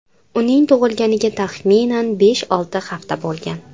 Uning tug‘ilganiga taxminan besh-olti hafta bo‘lgan.